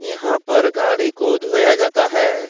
यहां पर गाड़ी को धोया जाता है।